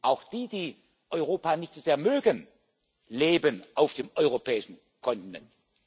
Auch die, die Europa nicht so sehr mögen, leben auf dem europäischen Kontinent.